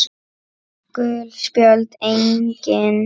Gul spjöld: Engin.